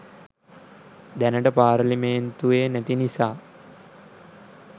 දැනට පාර්ලිමෙන්තුවේ නැති නිසා